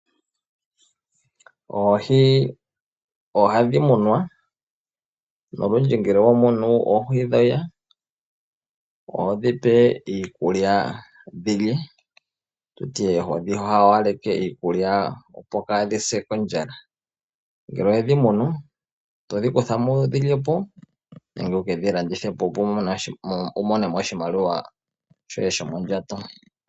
Oohi ohadhi munwa. Olundji ngele wa munu oohi dhoye ohodhi pe iikulya dhi lye, ho dhi hawaleke iikulya, opo kaa dhi se kondjala. Ngele owe dhi munu to dhi kutha mo wu dhi lye po nenge wu ke dhi landithe po, opo wu mone mo oshimaliwa shoye shomondjato.